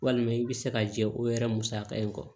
Walima i bɛ se ka jɛ o yɛrɛ musaka in kɔ